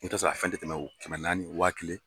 I bɛ taa sɔrɔ a fɛn tɛ tɛmɛ o kɛmɛ naani wa kelen.